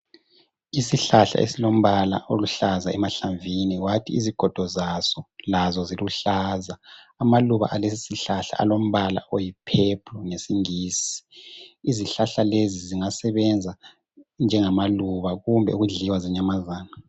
Isihlahla esilombala oluhlaza emahlamvini kwathi izigodo zazo lazo ziluhlaza. Amaluba alesi sihlahla alombala oyi pheplu ngesingisi izihlahla lezi zingasebenza njengamaluba kumbe ukudliwa zinyamazana.